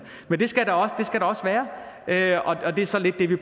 men det skal der også være og det er så egentlig det